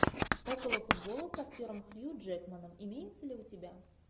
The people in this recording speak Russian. около футбола с актером хью джекманом имеется ли у тебя